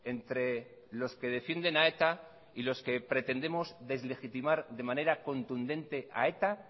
entre los que defienden a eta y los que pretendemos deslegitimar de manera contundente a eta